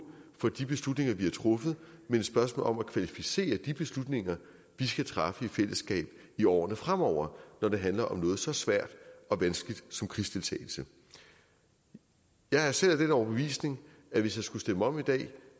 for de beslutninger vi har truffet men et spørgsmål om at kvalificere de beslutninger vi skal træffe i fællesskab i årene fremover når det handler om noget så svært og vanskeligt som krigsdeltagelse jeg er selv af den overbevisning at hvis jeg skulle stemme om i dag